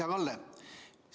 Hea Kalle!